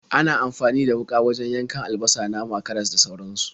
Ana amfani da wuƙa wajen yankan albasa, nama, karas, da sauransu.